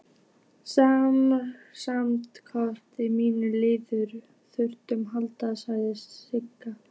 Samstarfskona mín liggur þungt haldin, sagði Sigga.